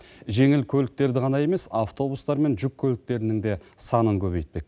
жеңіл көліктерді ғана емес автобустар мен жүк көліктерінің де санын көбейтпек